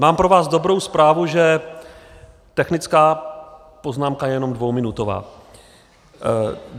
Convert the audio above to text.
Mám pro vás dobrou zprávu, že technická poznámka je jenom dvouminutová.